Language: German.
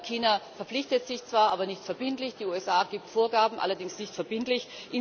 China verpflichtet sich zwar, aber nicht verbindlich. Die USA gibt Vorgaben, allerdings nicht verbindlich.